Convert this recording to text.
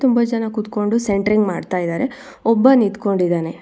ತುಂಬಾ ಜನ ಕುತ್ಕೊಂಡು ಸೆಂಟ್ರಿಂಗ್ ಮಾಡ್ತಾ ಇದಾರೆ ಒಬ್ಬ ನಿಂತ್ಕೊಂಡಿದಾನೆ.